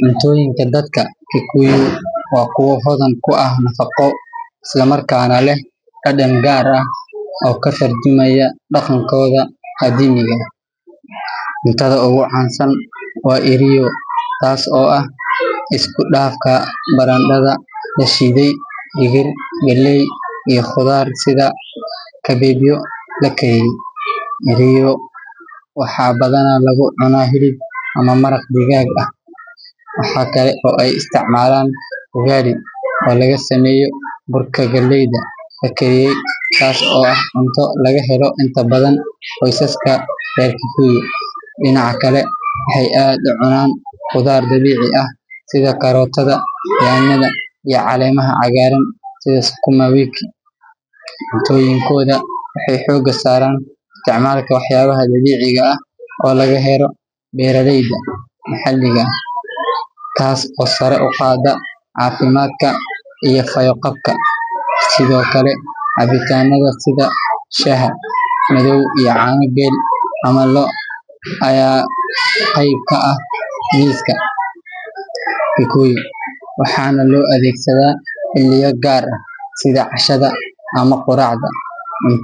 Cuntoyinka dadka kikuyu waa kuwa hodhan ku ah nafaqo markana leh dadan gar ah oo ka turjumaya daqankodha, cuntaada ogu can san waa eriyo tas oo ah iskudafka baradadha lashidhe dihir galey iyo qudhar sitha kadedyo lakeshiye, waxaa badana lagu cuna maraq digag ah , waxaa kale oo ee istican ugali oo laga sameye galeyda la kedhiye tas oo ah cunto laga helo inta badan qosaska kikuyu dinaca kale waxee ad u cunan qudhaar dabici ah sitha karotadha nyanyada iyo calemaha cagaran sitha sukuma wiki cuntoyinkodha waxee xoga saran isticmalka wax yala dabiciga eh oo laga helo beeraha adhega maxaliga ah tas oo sara uqada cafimaadka iyo qeb galka sithokale cabitanaadha sitha shaha madhow iyo cana eri ama lo qeb ka ah miska kikuyu, waxana lo adhegsadha xiliyo gar ah sitha cashaada ama quracda,